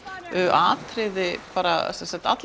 atriði sem sagt allar